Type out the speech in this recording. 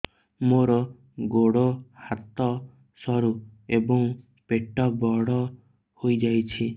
ମୋର ଗୋଡ ହାତ ସରୁ ଏବଂ ପେଟ ବଡ଼ ହୋଇଯାଇଛି